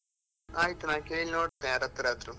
ಆಯ್ತು, ನಾನು ಕೇಳಿ ನೋಡಿತೇನೆ ಯಾರತ್ರಾದ್ರು.